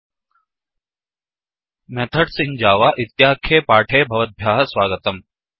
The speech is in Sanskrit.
मेथड्स् इन् javaमेथड्स् इन् जावाइत्याख्ये पाठे भवद्भ्यः स्वागतम्